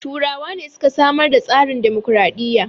Turawa ne suka samar da tsarin dimokraɗiya